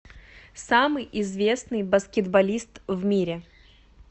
самый известный баскетболист в мире